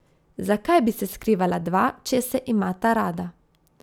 Zakaj bi se skrivala dva, če se imata rada.